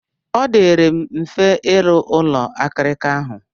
Ọ dịịrị m mfe ịrụ ụlọ akirika ahụ.